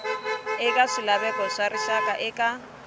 eka swilaveko swa rixaka eka